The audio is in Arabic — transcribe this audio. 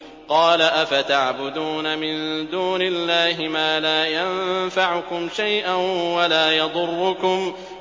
قَالَ أَفَتَعْبُدُونَ مِن دُونِ اللَّهِ مَا لَا يَنفَعُكُمْ شَيْئًا وَلَا يَضُرُّكُمْ